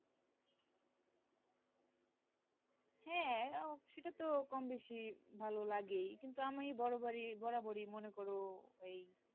হ্যা সেটা তো কমবেশি ভালো লাগেই কিন্তু আমি বরাবরই বরাবরই মনে করো এই